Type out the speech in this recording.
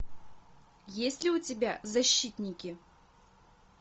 есть ли у тебя защитники